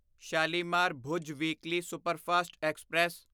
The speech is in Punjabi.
Shalimar Bhuj weekly superfast express